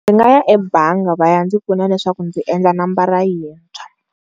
Ndzi nga ya ebangi leswaku va ya ndzi pfuna leswaku ndzi endla nomboro yintshwa.